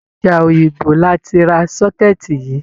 Ọjà Òyìngbò la ti ra sọ́kẹ́ẹ̀tì yìí.